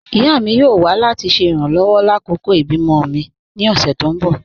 Ìyá mi yóò wà láti ṣe irànlowọ̀ lákọkọ̀ ibi-mọ̀ mi ní ọ̀ṣẹ̀ tó n bọ́